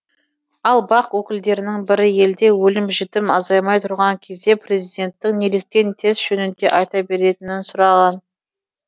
ал бақ өкілдерінің бірі елде өлім жітім азаймай тұрған кезде президенттің неліктен тест жөнінде айта беретінін сұраған